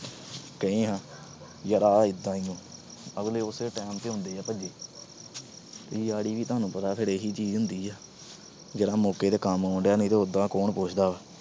ਕਹਿ ਆਏ ਯਾਰ ਆ ਏਂਦਾ ਆ। ਅਗਲੇ ਉਸੇ time ਤੇ ਆਉਂਦੇ ਆ ਭੱਜੇ। ਯਾਰੀ ਵੀ ਤੋਨੂੰ ਪਤਾ ਫਿਰ ਇਹੀ ਚੀਜ ਹੁੰਦੀ ਆ। ਜਿਹੜਾ ਮੌਕੇ ਤੇ ਕੰਮ ਆਉਣਡਿਆ, ਨਹੀਂ ਉਦਾ ਕੌਣ ਪੁੱਛਦਾ।